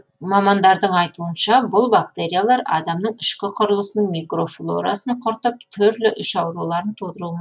мамандардың айтуынша бұл бактериялар адамның ішкі құрылысының микрофлорасын құртып түрлі іш ауруларын тудыруы